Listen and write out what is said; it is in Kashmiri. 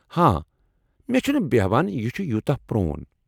ہاں ، مےٚ چھُنہٕ بیہان یہ چُھ یوٗتاہ پرٛون۔